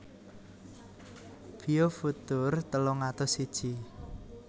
Biofutur telung atus siji